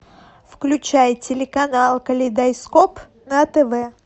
включай телеканал калейдоскоп на тв